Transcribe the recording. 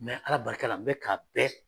Mɛ Ala barika la n bɛ ka bɛɛ